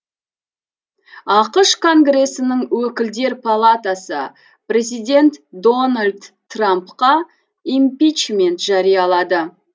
ақш конгресінің өкілдер палатасы президент дональд трампқа импичмент жариялады